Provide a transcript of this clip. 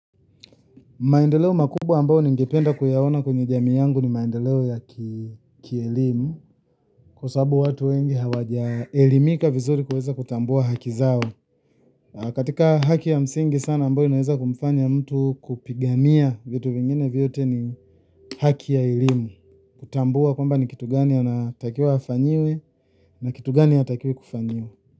Maendeleo makubwa ambao ni ningependa kuyaona kwenye jamii yangu ni maendeleo ya kielimu. Kwa sababu watu wengi hawajaelimika vizuri kuweza kutambua haki zao. Katika haki ya msingi sana ambayo inaweza kumfanya mtu kupigania vitu vingine vyote ni haki ya elimu. Kutambua kwamba ni kitu gani anatakiwa afanyiwe na kitu gani ya hatakiwi kufanyiwa.